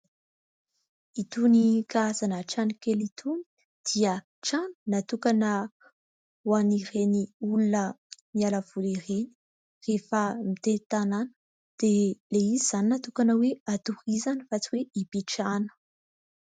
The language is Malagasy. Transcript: Itony karazana trano kely itony dia trano natokana ho an'ireny olona miala voly ireny rehefa mitety tanàna. Dia ilay izy izany dia natokana hatorizana fa tsy hoe hipetrahana.